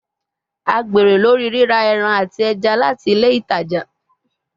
A gbero lori rira ẹran ati ẹja lati ile itaja